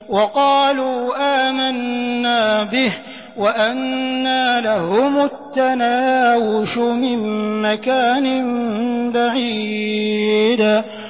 وَقَالُوا آمَنَّا بِهِ وَأَنَّىٰ لَهُمُ التَّنَاوُشُ مِن مَّكَانٍ بَعِيدٍ